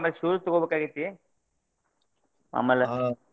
ಆಮೇಲೆ shoes ತೊಗೋಬೇಕಾಗೈತಿ .